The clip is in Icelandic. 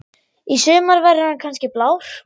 Í sumar verður hann kannski blár.